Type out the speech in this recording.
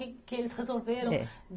que eles resolveram? É